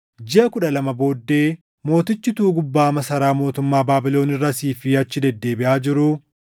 Jiʼa kudha lama booddee mootichi utuu gubbaa masaraa mootummaa Baabilon irra asii fi achi deddeebiʼaa jiruu,